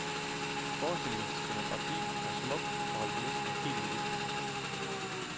Forestillingens scenografi er smuk og holdt næsten helt i hvidt.